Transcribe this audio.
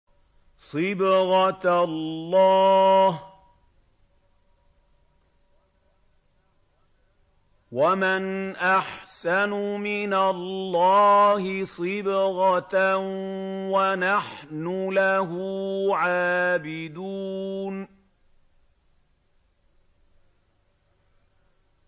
صِبْغَةَ اللَّهِ ۖ وَمَنْ أَحْسَنُ مِنَ اللَّهِ صِبْغَةً ۖ وَنَحْنُ لَهُ عَابِدُونَ